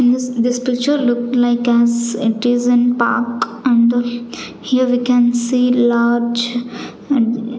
In this this picture look like as it is an park and the here we can see large and --